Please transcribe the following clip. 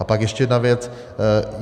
A pak ještě jedna věc.